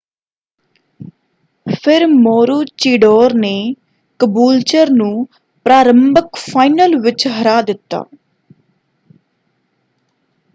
ਫਿਰ ਮੋਰੂਚੀਡੋਰ ਨੇ ਕਬੂਲਚਰ ਨੂੰ ਪ੍ਰਾਰੰਭਕ ਫਾਈਨਲ ਵਿੱਚ ਹਰਾ ਦਿੱਤਾ।